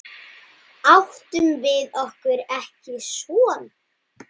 Áttum við okkur ekki son?